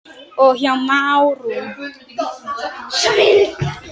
og Hjá Márum.